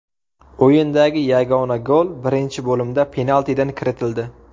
O‘yindagi yagona gol birinchi bo‘limda penaltidan kiritildi.